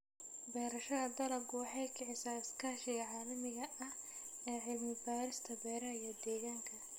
Beerashada dalaggu waxay kicisaa iskaashiga caalamiga ah ee cilmi-baarista beeraha iyo deegaanka.